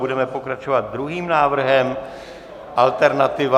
Budeme pokračovat druhým návrhem, alternativa.